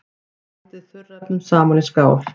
Blandið þurrefnunum saman í skál.